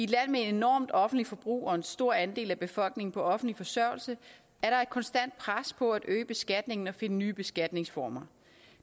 land med et enormt offentligt forbrug og en stor andel af befolkningen på offentlig forsørgelse er der konstant pres på at øge beskatningen og finde nye beskatningsformer